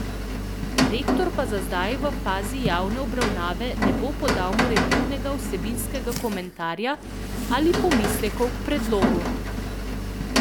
Rektor pa za zdaj v fazi javne obravnave ne bo podal morebitnega vsebinskega komentarja ali pomislekov k predlogu.